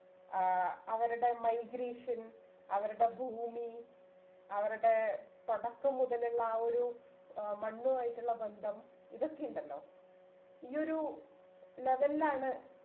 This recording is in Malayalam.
ആഹ് അവരുടെ migration അവരുടെ ഭൂമി അവരുടെ തുടക്കം മുതല്ള്ള ആ ഒരു ഏർ മണ്ണുമായിട്ടുള്ള ബന്ധം ഇതൊക്കെയുണ്ടല്ലോ ഈ ഒരു level ലാണ്